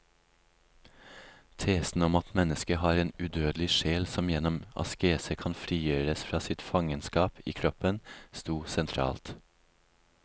Tesen om at mennesket har en udødelig sjel som gjennom askese kan frigjøres fra sitt fangenskap i kroppen, stod sentralt.